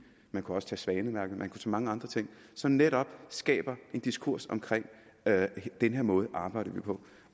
man kunne også tage svanemærket man kunne tage mange andre ting som netop skaber en diskurs om at den her måde arbejder vi på